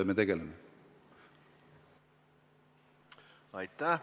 Aitäh!